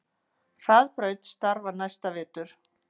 Hraðbraut starfar næsta vetur